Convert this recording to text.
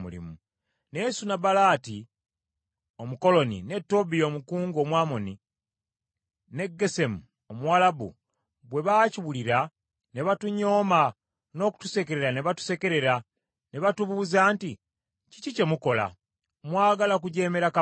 Naye Sanubalaati Omukoloni, ne Tobiya omukungu Omwamoni ne Gesemu Omuwalabu bwe baakiwulira ne batunyooma n’okutusekerera ne batusekerera. Ne batubuuza nti, “Kiki kye mukola? Mwagala kujeemera kabaka?”